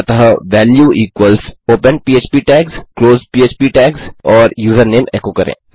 अतः value equals open पह्प tags close पह्प टैग्स और यूज़रनेम एको करें